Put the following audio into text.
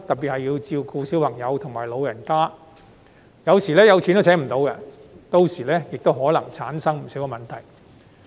如要照顧小朋友和長者則更難，有時候有錢也聘請不到，屆時可能產生不少問題。